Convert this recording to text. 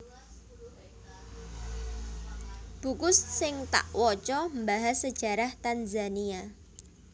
Buku sing tak woco mbahas sejarah Tanzania